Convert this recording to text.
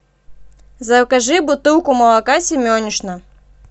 закажи бутылку молока семенишна